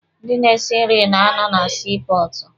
Ndị na-esi nri na-anọ na sii pọọtụ.